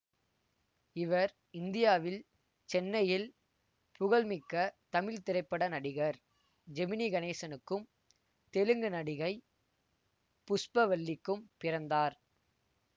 இவர் இந்தியாவில் சென்னையில் புகழ்மிக்க தமிழ் திரைப்பட நடிகர் ஜெமினி கணேசனுக்கும் தெலுங்கு நடிகை புஷ்பவல்லிக்கும் பிறந்தார்